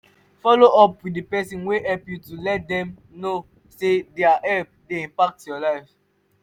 follow up with person wey help you to let them know sey their help dey impact your life